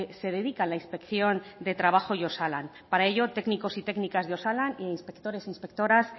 se dedica la inspección de trabajo y osalan para ello técnicos y técnicas de osalan e inspectores e inspectoras